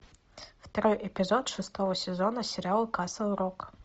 второй эпизод шестого сезона сериал касл рок